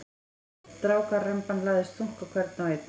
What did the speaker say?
Strákaremban lagðist þungt á hvern og einn.